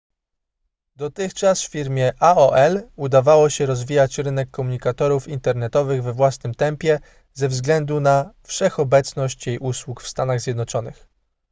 dotychczas firmie aol udawało się rozwijać rynek komunikatorów internetowych we własnym tempie ze względu na wszechobecność jej usług w stanach zjednoczonych